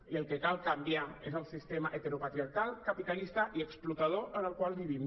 i el que cal canviar és el sistema heteropatriarcal capitalista i explotador en el qual vivim